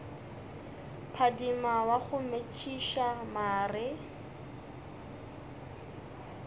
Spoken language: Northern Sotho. phadima wa go metšiša mare